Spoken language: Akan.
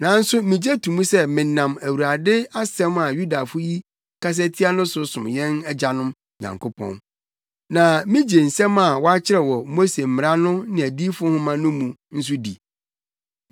Nanso migye to mu sɛ menam Awurade asɛm a Yudafo yi kasa tia no so som yɛn Agyanom Nyankopɔn. Na migye nsɛm a wɔakyerɛw wɔ Mose mmara no ne adiyifo nhoma no mu no nso di.